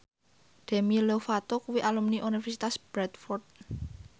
Demi Lovato kuwi alumni Universitas Bradford